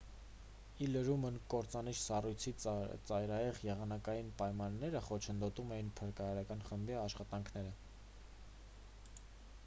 ի լրումն կործանիչ սառույցի ծայրահեղ եղանակային պայմանները խոչընդոտում էին փրկարարական խմբի աշխատանքները